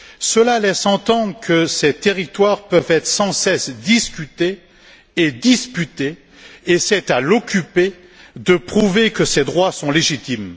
Cela laisse entendre que ces territoires peuvent être sans cesse discutés et disputés et que c'est à l'occupé de prouver que ses droits sont légitimes.